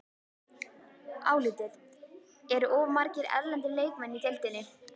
Álitið: Eru of margir erlendir leikmenn í deildinni?